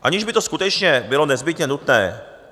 Aniž by to skutečně bylo nezbytně nutné.